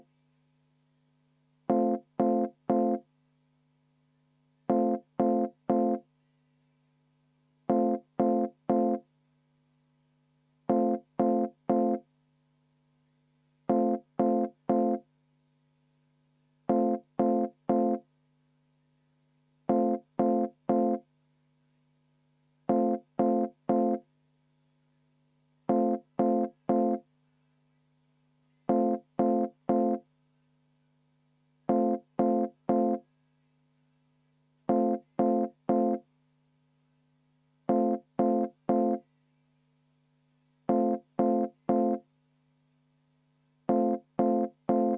V a h e a e g